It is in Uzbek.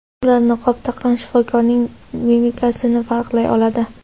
Ular niqob taqqan shifokorning mimikasini farqlay oladi.